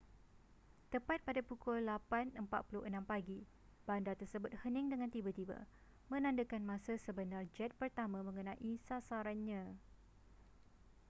tepat pada pukul 8:46 pagi bandar tersebut hening dengan tiba-tiba menandakan masa sebenar jet pertama mengenai sasarannya